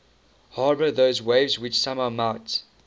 harbour those waves which somehow might